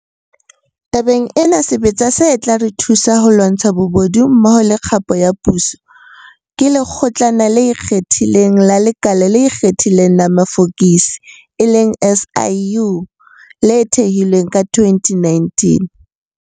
Tabeng ena, sebetsa se tla re thusa ho lwantsha bobodu mmoho le kgapo ya puso, ke Lekgotlana le Ikgethileng la Lekala le Ikgethileng la Mafokisi, SIU, le thehilweng ka 2019.